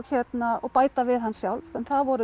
og bæta við hann sjálf en það voru